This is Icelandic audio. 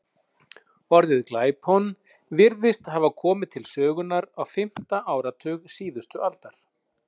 Orðið glæpon virðist hafa komið til sögunnar á fimmta áratug síðustu aldar.